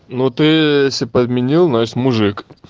ну ты если подменил значит мужик